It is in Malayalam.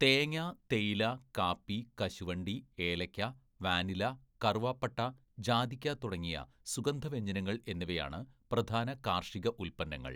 തേങ്ങ, തേയില, കാപ്പി, കശുവണ്ടി, ഏലയ്ക്ക, വാനില, കറുവാപ്പട്ട, ജാതിക്ക തുടങ്ങിയ സുഗന്ധവ്യഞ്ജനങ്ങൾ എന്നിവയാണ് പ്രധാന കാർഷിക ഉൽപ്പന്നങ്ങൾ.